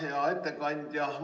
Hea ettekandja!